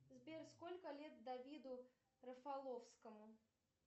сбер сколько лет давиду рафаловскому